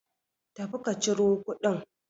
Tafi ka ciro kuɗin.